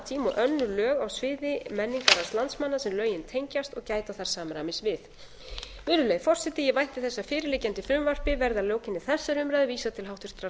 tíma og önnur lög á sviði menningararfs landsmanna sem lögin tengjast og gæta þarf samræmis við virðulegi forseti ég vænti þess að fyrirliggjandi frumvarpi verði að lokum þessarar umræðu vísað til háttvirtrar